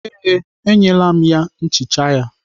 Ee, enyela m ya nchicha ya.